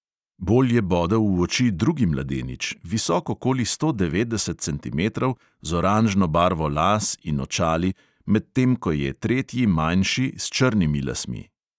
Bolj je bodel v oči drugi mladenič, visok okoli sto devetdeset centimetrov, z oranžno barvo las in očali, medtem ko je tretji manjši, s črnimi lasmi.